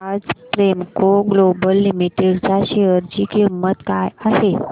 आज Premco Global Limited च्या share ची किंमत काय आहे